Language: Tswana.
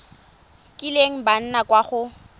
kileng ba nna kwa go